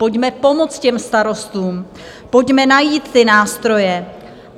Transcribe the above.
Pojďme pomoct těm starostům, pojďme najít ty nástroje!